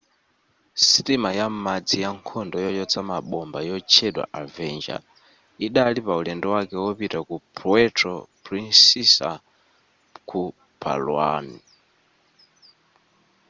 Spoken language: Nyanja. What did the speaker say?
sitima ya m'madzi yankhondo yochotsa mabomba yotchedwa avenger idali paulendo wake wopita ku puerto princesa ku palawan